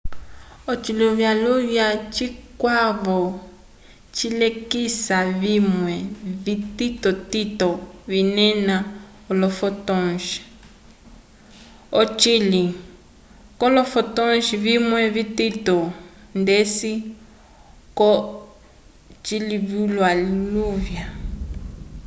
ociluvyaluvya cikwavo cilekisa vimwe vititotito vinena olo fotons ocili colo fotons vimwe vitito ndeci ko ciluvyaluvya